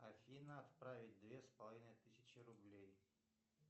афина отправить две с половиной тысячи рублей